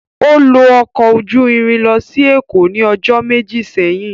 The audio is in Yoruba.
O lo ọkọ oju irin losi Eko ni ọjọ meji seyin.